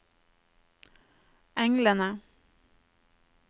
englene